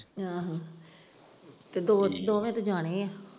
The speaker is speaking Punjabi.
ਆਹੋ ਤੇ ਦੋ ਤੇ ਦੋ ਹੀ ਤੇ ਜਾਨੇ ਹੈ।